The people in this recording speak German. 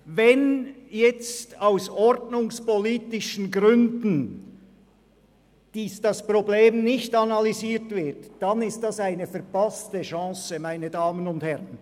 Wenn aus ordnungspolitischen Gründen das Problem nicht analysiert wird, dann ist das eine verpasste Chance, meine Damen und Herren.